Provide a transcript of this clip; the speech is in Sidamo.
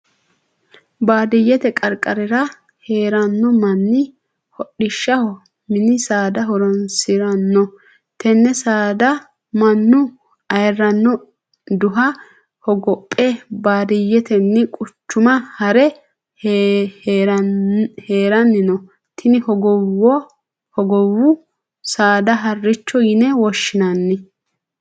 Baadiyete qarqarira heerano manni hodhishaho minni saada horoonsirano. Tenne saada Manu ayirino duha hogophe baadiyetenni quchuma haare haranni no. Tinni hogowu saada harichoho yinne woshinnanni.